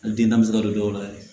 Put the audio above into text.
Hali den na se ka don dɔw la yɛrɛ